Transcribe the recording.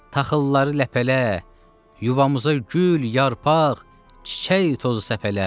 Taxılları ləpələ, yuvamıza gül, yarpaq, çiçək tozu səpələ.